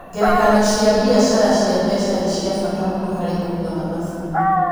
Ngerekano cia biacara cia mbeca nĩ cia bata mũno harĩ kũiga mathabu.